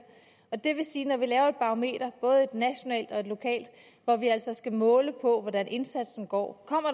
og det vil sige at når vi laver et barometer både et nationalt og et lokalt hvor vi altså skal måle på hvordan indsatsen går